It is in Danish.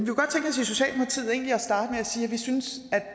at sige at vi synes